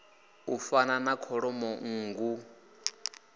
u fana na kholomo nngu